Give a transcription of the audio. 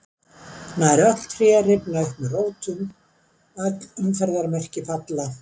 Nær öll tré rifna upp með rótum, öll umferðarmerki falla.